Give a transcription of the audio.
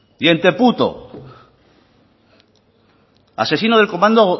y asesino del comando